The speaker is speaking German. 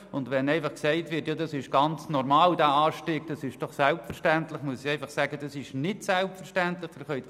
Und wenn gesagt wird, der Anstieg sei ganz normal und selbstverständlich, muss ich einfach sagen, dass dies nicht selbstverständlich ist.